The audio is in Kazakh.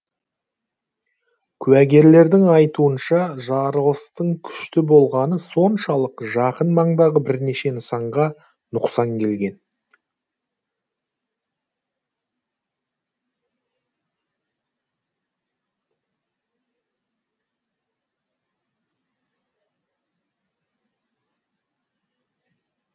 куәгерлердің айтуынша жарылыстың күшті болғаны соншалық жақын маңдағы бірнеше нысанға нұқсан келген